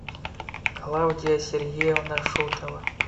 клавдия сергеевна шутова